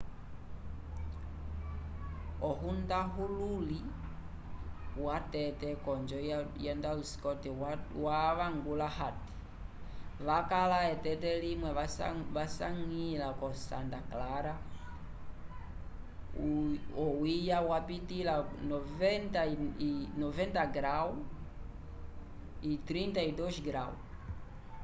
hohundahululi watete konjo yo ndalu scott wavangula ati: wakala eteke limwe lyasanya ko santa clara o uya ya pitila 90º f 32ºc